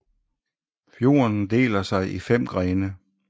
Fjorden deler sig i fem grene